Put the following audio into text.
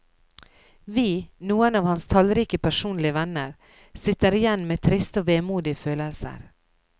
Vi, noen av hans tallrike personlige venner, sitter igjen med triste og vemodige følelser.